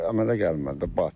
Əmələ gəlmədi də, batdı.